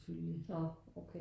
Nårh okay